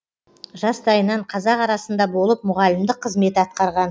жастайынан қазақ арасында болып мұғалімдік қызмет атқарған